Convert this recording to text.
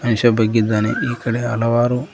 ಮನುಷ್ಯ ಬಗ್ಗಿದ್ದಾನೆ ಈ ಕಡೆ ಹಲವಾರು.